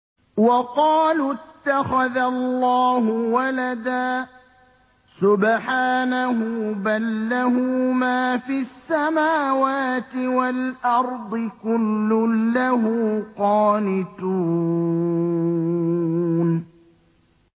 وَقَالُوا اتَّخَذَ اللَّهُ وَلَدًا ۗ سُبْحَانَهُ ۖ بَل لَّهُ مَا فِي السَّمَاوَاتِ وَالْأَرْضِ ۖ كُلٌّ لَّهُ قَانِتُونَ